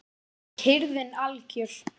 Og kyrrðin algjör.